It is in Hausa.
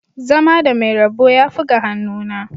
Zama da mai rabo yafi ga hannuna